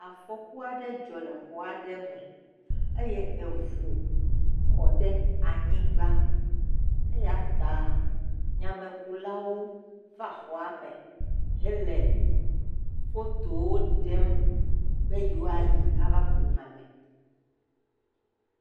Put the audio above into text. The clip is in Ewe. Afɔku aɖe dzɔ le xɔ aɖe me eye eʋu kɔɖe anyigba eyata nyamekulawo va xɔa me hele fotowo ɖem be ye woayi ava ku nyame.